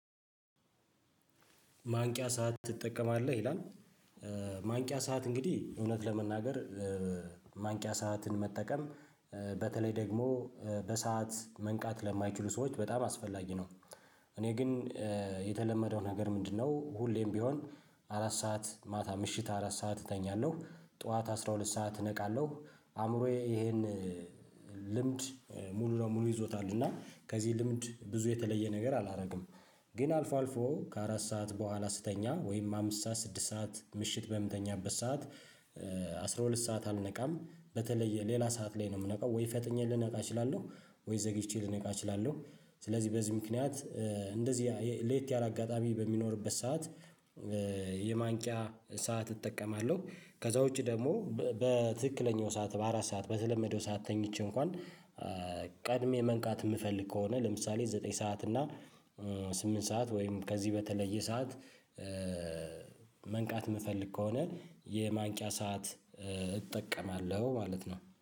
ማንቂያ ሰዓት ትጠቀማለህ? ይላል ማንቂያ ሰዓት እንግዲህ እውነት ለመናገር ማንቂያ ሰዓትን መጠቀም በተለይ ደግሞ በሰአት መንቃት ለማይችሉ ሰዎች በጣም አስፈላጊ ነው። እኔ ግን የተለመደው ነገር ምንድነው ሁሌም ቢሆን አራት ሰዓት ማታ ምሽት አራት ሰዓት እተኛለሁ ጠዋት አስራ ሁለት ሰዓት እነቃለሁ። አእምሮዬ ይሄን ልምድ ሙሉ ለሙሉ ይዞታል እና ከዚህ ልምድ ብዙ የተለየ ነገር አላደርግም። ግን አልፎ አልፎ ከአራት ሰዓት በኋላ ስተኛ ወይም አምስት ሰዓት ስድስት ሰዓት ምሽት በምተኛበት ሰዓት አስራ ሁለት ሰዓት አልነቃም በተለይ ሌላ ሰዓት ላይ ነው የምነቃው ወይ ፈጥኜ ልነቃ እችላለሁ ወይ ዘግይቼ ልነቃ እችላለሁ። ስለዚህ በዚህ ምክንያት እንደዚህ ለየት ያለ አጋጣሚ በሚኖርበት ሰዓት የማንቂያ ሰዓት እጠቀማለሁ። ከዛ ውጪ ደግሞ በትክክለኛው ሰዓት በአራት ሰዓት በተለመደው ሰዓት ተኝቼ እንኳን ቀድሜ መንቃት የምፈልግ ከሆነ ለምሳሌ ዘጠኝ ሰዓት እና ስምንት ሰዓት ወይም ከዚህ በተለየ ሰዓት መንቃት የምፈልግ ከሆነ የማንቂያ ሰዓት እጠቀማለሁ ማለት ነው።